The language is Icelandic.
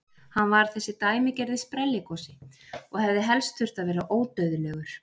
Hann var þessi dæmigerði sprelligosi og hefði helst þurft að vera ódauðlegur!